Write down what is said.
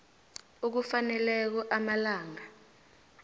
okufaneleko amalanga